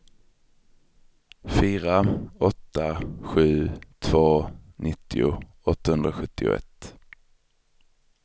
fyra åtta sju två nittio åttahundrasjuttioett